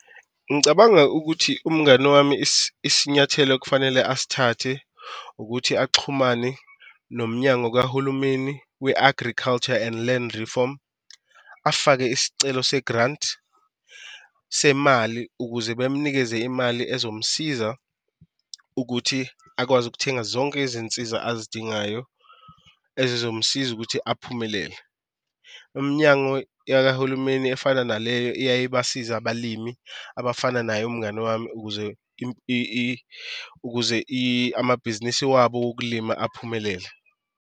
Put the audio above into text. Ngicabanga ukuthi umngani wami isinyathelo akufanele asithathe ukuthi axhumane nomnyango kahulumeni we-Agriculture and Land Reform, afake isicelo se-grant semali ukuze bemnikeze imali ezomsiza ukuthi akwazi ukuthenga zonke izinsiza abazidingayo ezizomsiza ukuthi aphumelele. Iminyango yakahulumeni efana naleyo, iyaye ibasize abalimi abafana naye umngani wami ukuze ukuze amabhizinisi wabo wokulima aphumelele.